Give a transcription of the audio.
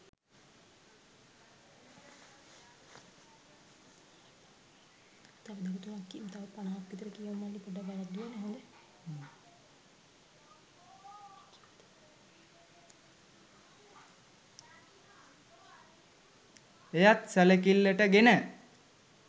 එයත් සැලකිල්ලට ගෙන